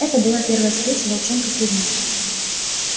это была первая встреча волчонка с людьми